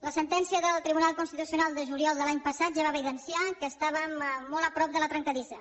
la sentència del tribunal constitucional de juliol de l’any passat ja va evidenciar que estàvem molt a prop de la trencadissa